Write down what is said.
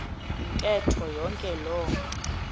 ntetho yonke loo